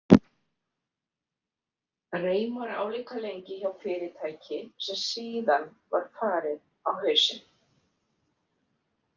Reimar álíka lengi hjá fyrirtæki sem síðan var farið á hausinn.